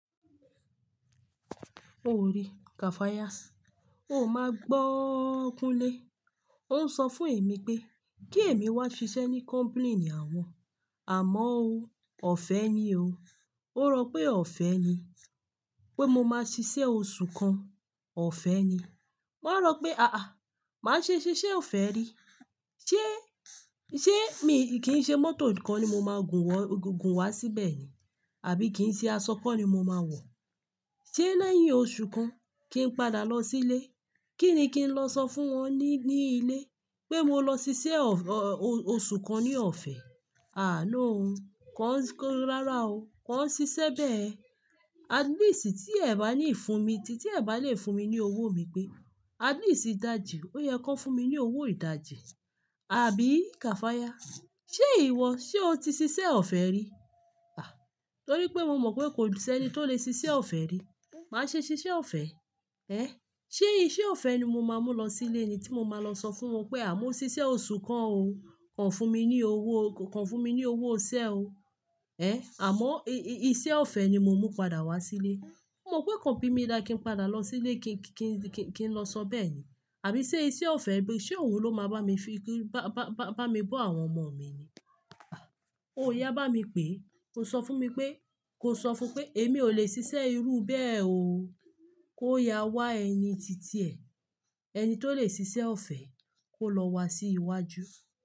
Ó rí, kafayas. Ó máa gbọ́ kúnlé. Ó ń sọ fún èmi pé kí èmi wá ṣiṣẹ́ ní company ni àwọn. Àmọ́ o, ọ̀fẹ́ ni o. Ó rò pé ọ̀fẹ́ ni. Pé mo máa ṣiṣẹ́ oṣù kan, ọ̀fẹ́ ni. Mo rò pé àáà, màá ṣe ṣiṣẹ́ ọ̀fẹ́ rí. Ṣé, ṣe mi, kì í ṣe mọ́tò kọ́ ni mo máa gun wọ, gùn wá síbẹ̀ ni? Àbí kì í ṣe aṣọ kan ni mo máa wọ̀? Ṣé lẹ́yìn oṣù kan kí n padà lọ sílé. Kí ni kí n lọ sọ fún wọn ní, ní ilé? Pé mo lọ ṣiṣẹ́ ọ̀, oṣù kan ní ọ̀fẹ́. À, no o, kọ́, kó rárá o, kọ́ n ṣiṣẹ́ bẹ́ẹ̀. At least, tí ẹ bá lè fún mi ní owó mi pé, at least ìdajì, ó yẹ kó fún mi ní owó ìdajì. Àbí kafaya? Ṣé ìwọ, ṣe o ti ṣiṣẹ́ ọ̀fẹ́ rí? Ah, torí pé mo mọ̀ pé kò sẹ́ni tó lè ṣiṣẹ́ ọ̀fẹ́ rí. Màá ṣe ṣiṣẹ́ ọ̀fẹ́. Ẹ̀, ṣé iṣẹ́ ọ̀fẹ́ ni mo máa mú lọ sílé ni tí mo máa lọ sọ fún wọn pé àmọ́ ṣiṣẹ́ oṣù kan o, kọ fún mi ní owó o, kọ fún mi ní owó iṣẹ́ o. Ẹ̀, àmọ́ i-iṣẹ́ ọ̀fẹ́ ni mo mú padà wá sílé. Mo mọ̀ pé kò bí mi dà kí n padà lọ sílé kí n, kí n, kí n lọ sọ bẹ́ẹ̀ ni. Àbí ṣe iṣẹ́ ọ̀fẹ́ bí i, ṣé òun ló máa bá mi fi kí, bá, bá, bá, bá mi bọ́ àwọn ọmọ mi ni. Ó yá bá mi pé ó sọ fún mi pé, kò sọ fún pé èmi ò lè ṣiṣẹ́ irú bẹ́ẹ̀ o. Kó yá wá ẹni títì ẹ̀, ẹni tó lè ṣiṣẹ́ ọ̀fẹ́ kó lọ wá sí iwájú.